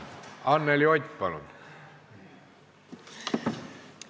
Anneli Ott, palun!